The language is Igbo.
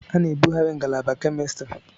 A ga-ebughari ngalaba Kemistri.